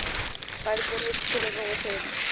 Færð þér einn til að róa taugarnar.